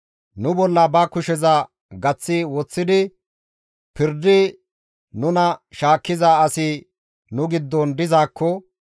Nu bolla ba kusheza gaththi woththidi pirdi nuna shaakkiza asi nu giddon dizaakko,